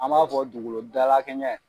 An b'a fɔ dugukolo dalakɛɲɛ.